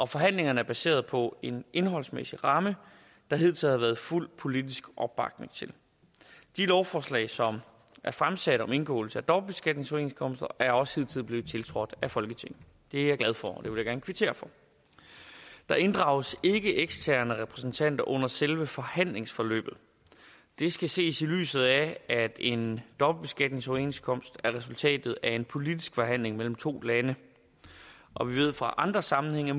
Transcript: forhandlingerne er baseret på en indholdsmæssig ramme der hidtil har været fuld politisk opbakning til de lovforslag som er fremsat om indgåelse af dobbeltbeskatningsoverenskomster er også hidtil blevet tiltrådt af folketinget det er jeg glad for og det vil jeg gerne kvittere for der inddrages ikke eksterne repræsentanter under selve forhandlingsforløbet det skal ses i lyset af at en dobbeltbeskatningsoverenskomst er resultatet af en politisk forhandling mellem to lande og vi ved fra andre sammenhænge at